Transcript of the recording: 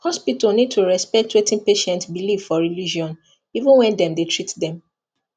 hospital need to respect wetin patient believe for religion even while dem dey treat them